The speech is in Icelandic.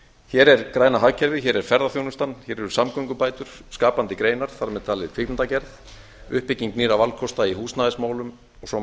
hér er græna hagkerfið hér er ferðaþjónustan hér eru samgöngubætur skapandi greinar þar með talin kvikmyndagerð uppbygging nýrra valkosta í húsnæðismálum og svo